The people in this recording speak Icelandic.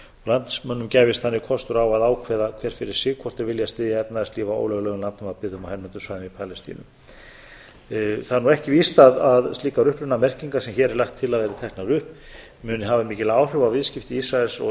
landsmönnum gæfist þannig kostur á að ákveða hver fyrir sig hvort þeir vilja styðja efnahagslíf á ólöglegum á hernumdum svæðum í palestínu það er ekki víst að slíkar upprunamerkingar sem hér er lagt til að eru teknar upp muni hafa mikil áhrif á viðskipti ísraels og